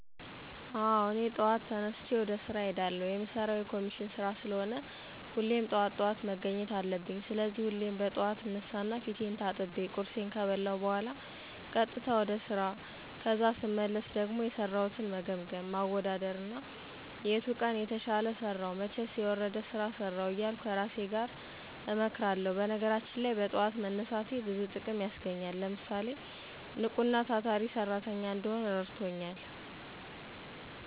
አወ እኔ ጠዋት ተነስቸ ወደ ስራ እሄዳለሁ። የምሰራው የኮሚሽን ስራ ስለሆነ ሁሌም ጠዋት ጠዋት መገኘት አለብኝ። ስለዚህ ሁሌም በጥዋት እነሳና ፊቴን ታጥቤ፣ ቁርሴን ከበላሁ በኋላ ቀጥታ ወደ ስራ ከዛ ስመለስ ደሞ የሰራሁትን መገምገም፣ ማወዳደር እና የቱ ቀን የተሻለ ሰራሁ መቸስ የወረደ ስራ ሰራሁ እያልሁ ከራሴ ጋር እመክራለሁ። በነገራችን ላይ በጥዋት መነሳቴ ብዙ ጥቅም ያስገኘኛል። ለምሳሌ፣ ንቁና ታታሪ ሰራተኛ እንድሆን እረድቶኛል።